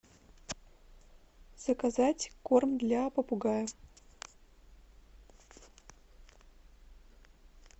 заказать корм для попугая